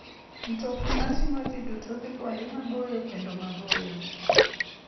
Mtokni mating'o ji duto dhi kuonde maboyo kendo maboyo.